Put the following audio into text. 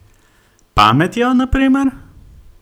Pametjo, na primer?